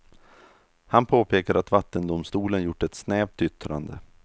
Han påpekar att vattendomstolen gjort ett snävt yttrande.